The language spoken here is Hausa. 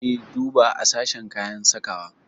E, duba a sashen kayan sakawa.